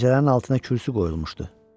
Pəncərənin altına kürsü qoyulmuşdu.